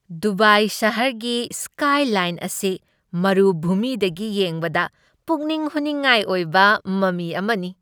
Dubai ꯁꯍꯔꯒꯤ skyline ꯑꯁꯤ ꯃꯔꯨꯚꯨꯃꯤꯗꯒꯤ ꯌꯦꯡꯕꯗ ꯄꯨꯛꯅꯤꯡ ꯍꯨꯅꯤꯡꯉꯥꯏ ꯑꯣꯏꯕ ꯃꯃꯤ ꯑꯃꯅꯤ ꯫